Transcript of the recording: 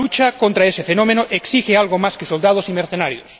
Pero la lucha contra ese fenómeno exige algo más que soldados y mercenarios.